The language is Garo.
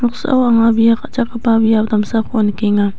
noksao anga bia ka·chakgipa biap damsako nikenga.